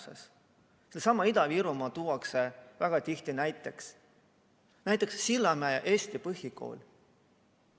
Sellega seoses tuuakse Ida-Virumaad väga tihti esile, näiteks Sillamäe Eesti Põhikooli.